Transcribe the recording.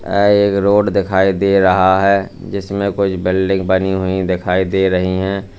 यह एक रोड दिखाई दे रहा है जिसमे कुछ बिल्डिंग बनी हुई दिखाई दे रही है।